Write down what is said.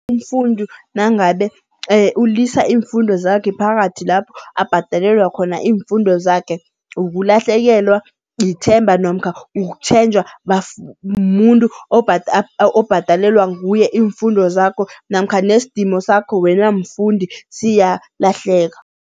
Umfundi nangabe ulisa iimfundo zakhe phakathi lapho abhadelelwa khona iimfundo zakhe, ukulahlekelwa ithemba namkha ukutjhenjwa muntu obhadalelwa nguye iimfundo zakho namkha nesdimo sakho wena mfundi siyalahleka.